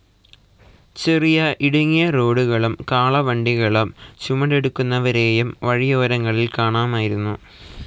ചെറിയ ഇടുങ്ങിയ റോഡുകളും കാളവണ്ടികളും ചുമടെടുക്കുന്നവരേയും വഴിയോരങ്ങളിൽ കാണാമായിരുന്നു.